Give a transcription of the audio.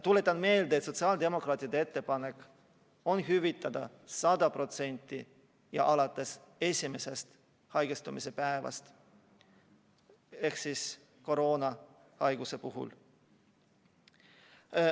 Tuletan meelde, et sotsiaaldemokraatide ettepanek on hüvitada 100% ja alates esimesest haigestumise päevast koroona puhul.